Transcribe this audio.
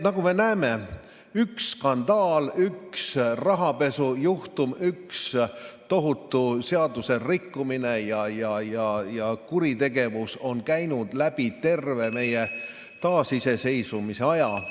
Nagu me näeme, on skandaal, rahapesu, tohutu seaduserikkumine ja kuritegevus käinud läbi terve meie taasiseseisvumise aja.